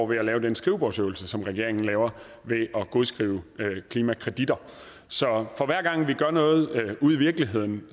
ved at lave den skrivebordsøvelse som regeringen laver ved at godskrive klimakreditter så for hver gang vi gør noget ude i virkeligheden